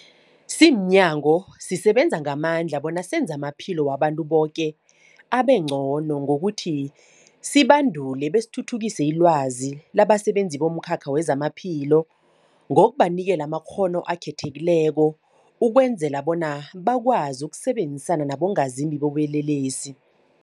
Simnyango, sisebenza ngamandla bona senze amaphilo wabantu boke abengcono ngokuthi sibandule besithuthukise ilwazi labasebenzi bomkhakha wezamaphilo ngokubanikela amakghono akhethekileko ukwenzela bona bakwazi ukusebenzisana nabongazimbi bobulelesi.